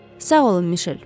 Sağ olun Mişel.